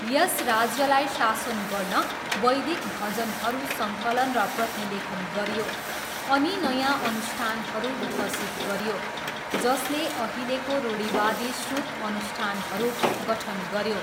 यस राज्यलाई शासन गर्न वैदिक भजनहरू सङ्कलन र प्रतिलेखन गरियो अनि नयाँ अनुष्ठानहरू विकसित गरियो जसले अहिलेको रूढिवादी श्रुत अनुष्ठानहरू गठन गऱ्यो।